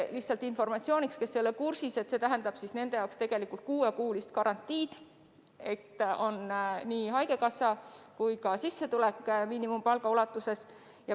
Lihtsalt informatsiooniks neile, kes ei ole kursis: see tähendab nende jaoks kuuekuulist garantiid, st neile on tagatud nii haigekassa kindlustus kui ka sissetulek miinimumpalga ulatuses.